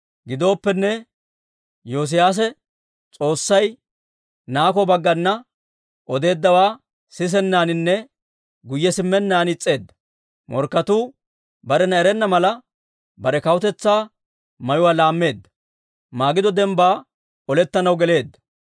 Gidooppenne, Yoosiyaase S'oossay Nako baggana odeeddawaa sisennaaninne guyye simmennaan is's'eedda. Morkketuu barena erenna mala, bare kawutetsaa mayuwaa laammeedda; Magido dembbaa olettanaw geleedda.